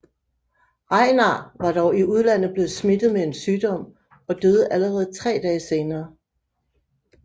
Regnar var dog i udlandet blevet smittet med en sygdom og døde allerede tre dage senere